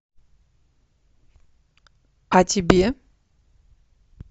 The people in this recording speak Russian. а тебе